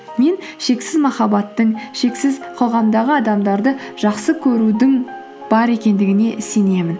мен шексіз махабаттың шексіз қоғамдағы адамдарды жақсы көрудің бар екендігіне сенемін